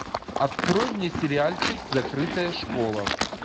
открой мне сериальчик закрытая школа